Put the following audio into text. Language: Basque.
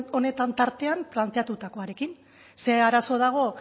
honetan tartean planteatutakoarekin ze arazo dago